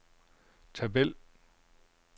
tabel